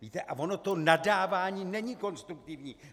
Víte, a ono to nadávání není konstruktivní.